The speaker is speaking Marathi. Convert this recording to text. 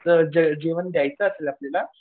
जेवण द्यायचं असेल आपल्याला.